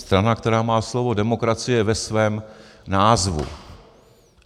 Strana, která má slovo demokracie ve svém názvu.